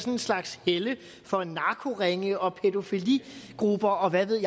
en slags helle for narkoringe og pædofiligrupper og hvad ved